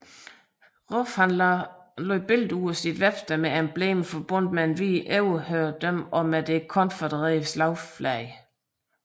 Roof lagde fotos ud på sit websted med emblemer forbundet med hvid overherredømme og med det konfødererede slagflag